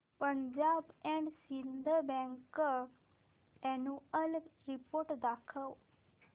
Punjab and Sind Bank annual report दाखव